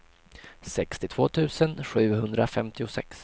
sextiotvå tusen sjuhundrafemtiosex